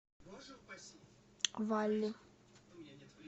валли